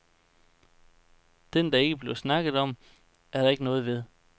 Den, der ikke bliver snakket om, er der ikke noget ved.